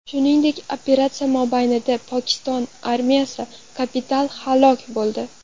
Shuningdek, operatsiya mobaynida Pokiston armiyasi kapitani halok bo‘ldi.